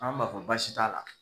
An m'a fɔ baasi t'a la.